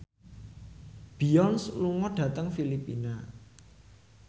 Beyonce lunga dhateng Filipina